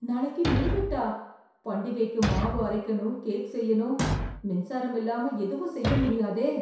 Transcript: நாளைக்கு மின்வெட்டா? பண்டிகைக்கு மாவு அரைக்கணும், கேக் செய்யணும். மின்சாரம் இல்லாம எதுவும் செய்ய முடியாதே.